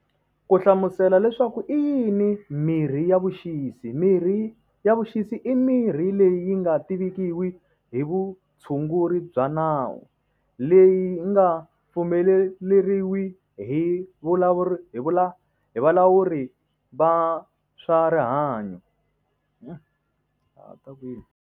Ku hlamusela leswaku i yini mirhi ya vuxisi mirhi ya vuxisi i mirhi leyi yi nga tivikiwi hi vutshunguri bya nawu le yi nga pfumeleriwi hi vulavula hi valawuri va swa rihanyo.